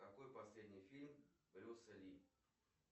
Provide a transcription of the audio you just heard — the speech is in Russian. какой последний фильм брюса ли